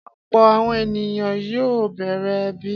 Ọ̀pọ̀ àwọn ènìyàn yóò bẹ̀rẹ̀ ẹbí.